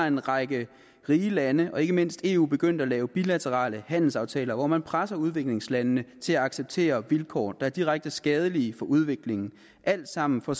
en række rige lande og ikke mindst eu begyndt at lave bilaterale handelsaftaler hvor man presser udviklingslandene til at acceptere vilkår der er direkte skadelige for udviklingen alt sammen for